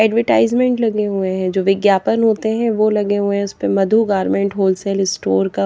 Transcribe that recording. advertisement लगे हुए हैं जो विज्ञापन होते हैं वो लगे हुए हैं उस पे मधु गारमेंट होलसेल स्टोर का --